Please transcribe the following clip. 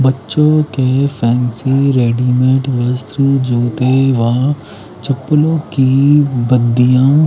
बच्चोके fancy readymade वस्त्र ज्युते वहां चप्पलोँकि बदिया--